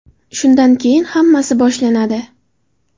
Shundan keyin hammasi boshlanadi.